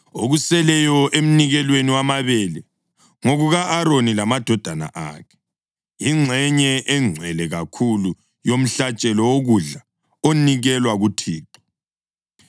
Okuseleyo emnikelweni wamabele ngokuka-Aroni lamadodana akhe, yingxenye engcwele kakhulu yomhlatshelo wokudla onikelwa kuThixo.